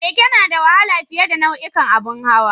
Keke na da wahala fiye a nau'ukan abun hawa